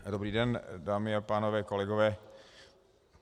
Dobrý den, dámy a pánové, kolegové.